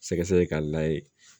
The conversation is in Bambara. Sɛgɛsɛgɛ k'a layɛ